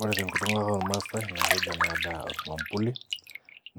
Ore tenkutuk ormaasai naaa keji ena daa omampuli